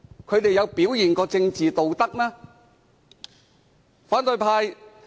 他們曾表現出政治道德嗎？